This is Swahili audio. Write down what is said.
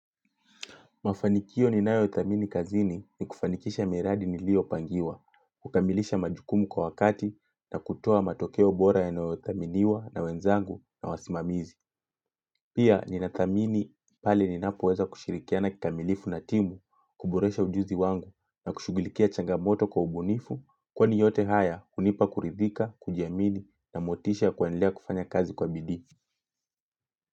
Mafanikio ni nayo thamini kazini ni kufanikisha miradi nilio pangiwa, kukamilisha majukumu kwa wakati na kutoa matokeo bora ya nayo thaminiwa na wenzangu na wasimamizi. Pia ni na thamini pale ninapoweza kushirikiana kikamilifu na timu, kuboresha ujuzi wangu na kushugulikia changamoto kwa ubunifu kwani yote haya hunipa kuridhika, kujiamini na motisha kuendelea kufanya kazi kwa bidii.